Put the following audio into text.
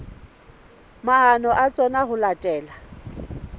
maano a tsona ho latela